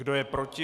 Kdo je proti?